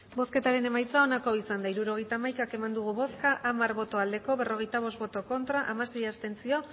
hirurogeita hamaika eman dugu bozka hamar bai berrogeita bost ez hamasei abstentzio